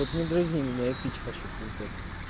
вот не дразни меня я пить хочу пиздец